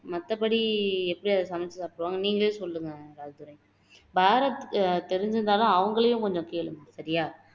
மத்தபடி எப்படி அதை சமைச்சு சாப்புடுவாங்ககன்னு நீங்களே சொல்லுங்க ராஜதுரை பாரத் தெரிஞ்சுருந்தாலும் அவங்களையும் கொஞ்சம் கேளுங்க சரியா